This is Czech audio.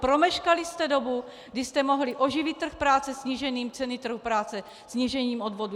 Promeškali jste dobu, kdy jste mohli oživit trh práce snížením ceny trhu práce, snížením odvodů.